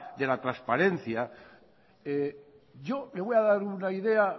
de la transparencia yo le voy a dar una idea